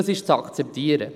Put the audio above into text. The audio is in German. Das ist zu akzeptieren.